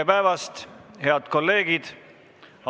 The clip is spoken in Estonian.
Tere päevast, head kolleegid!